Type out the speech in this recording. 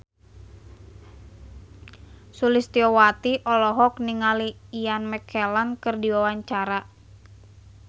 Sulistyowati olohok ningali Ian McKellen keur diwawancara